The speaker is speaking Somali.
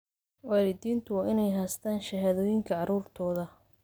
Waalidiintu waa inay haystaan ??shahaadooyinka carruurtooda.